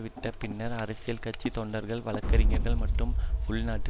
விட்ட பின்னர் அரசியல் கட்சி தொண்டர்கள் வழக்கறிஞர்கள் மற்றும் உள்நாட்டு